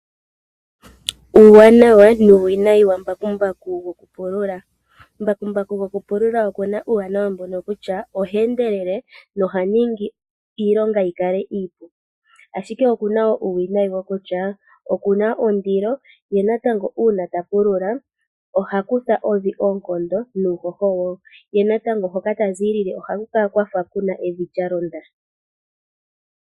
Uuwanawa nuuwinayi wambakumbaku gokupulula. Mbakumbaku gokupulula okuna uuwanawa mbono kutya oha endelele noha ningi iilonga yikale iipu, ashike okuna wo uuwinayi mboka kutya, okuna ondilo, ye natango uuna tapulula ohakutha evi oonkondo nuuhoho wo, ye natango hoka taziilile ohaku kala kwafa kuna evi lyalonda.